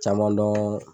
Caman dɔn